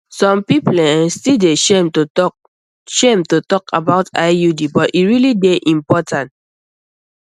some people eh still dey shame to talk shame to talk about iud but e really dey important